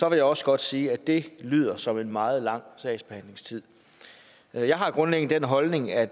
jeg også godt sige at det lyder som en meget lang sagsbehandlingstid jeg har grundlæggende den holdning at